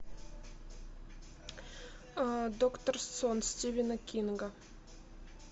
доктор сон стивена кинга